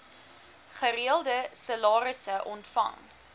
gereelde salarisse ontvang